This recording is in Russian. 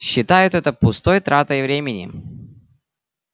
считают это пустой тратой времени